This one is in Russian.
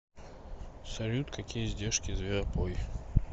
салют какие издержки зверопой